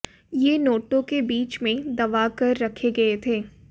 ये नोटों के बीच में दबाकर रखे गए थे